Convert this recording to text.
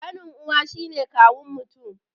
Ƙanin uwa shine kawun mutum